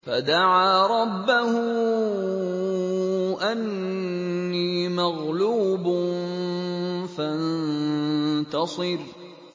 فَدَعَا رَبَّهُ أَنِّي مَغْلُوبٌ فَانتَصِرْ